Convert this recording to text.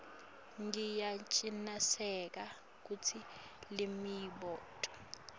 ngiyacinisekisa kutsi lemibuto